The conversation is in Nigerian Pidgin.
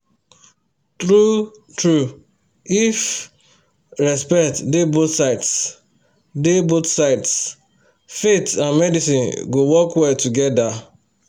true-true if respect dey both sides dey both sides faith and medicine go work well together